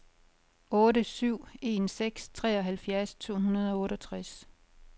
otte syv en seks treoghalvfjerds to hundrede og otteogtres